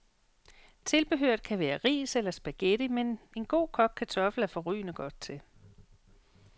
Tilbehøret kan være ris eller spaghetti, men en god, kogt kartoffel er forrygende godt til.